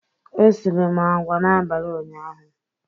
Esiri m agwa n'abalị ụnyaahụ.